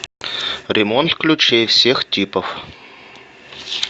ремонт ключей всех типов